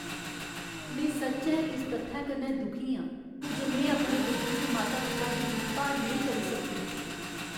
में सच्चैं इस तत्थै कन्नै दुखी आं जे में अपने बजुर्ग माता पिता दी दिक्ख भाल नेईं करी सकदी।